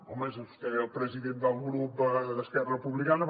home és vostè el president del grup d’esquerra republicana